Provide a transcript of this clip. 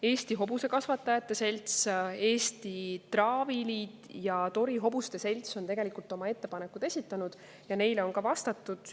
Eesti Hobusekasvatajate Selts, Eesti Traaviliit ja Tori Hobuse Selts on oma ettepanekud esitanud ja neile on vastatud.